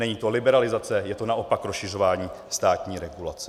Není to liberalizace, je to naopak rozšiřování státní regulace.